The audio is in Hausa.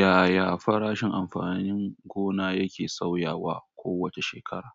Yaya farashin amfanin gona yake sauyawa kowace shekara?